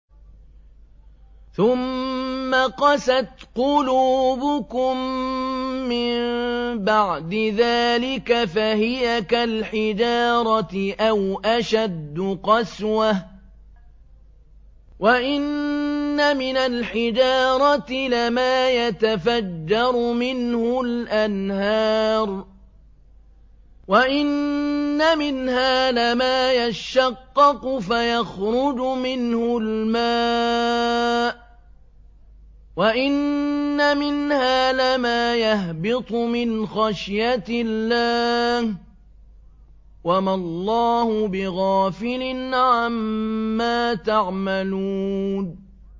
ثُمَّ قَسَتْ قُلُوبُكُم مِّن بَعْدِ ذَٰلِكَ فَهِيَ كَالْحِجَارَةِ أَوْ أَشَدُّ قَسْوَةً ۚ وَإِنَّ مِنَ الْحِجَارَةِ لَمَا يَتَفَجَّرُ مِنْهُ الْأَنْهَارُ ۚ وَإِنَّ مِنْهَا لَمَا يَشَّقَّقُ فَيَخْرُجُ مِنْهُ الْمَاءُ ۚ وَإِنَّ مِنْهَا لَمَا يَهْبِطُ مِنْ خَشْيَةِ اللَّهِ ۗ وَمَا اللَّهُ بِغَافِلٍ عَمَّا تَعْمَلُونَ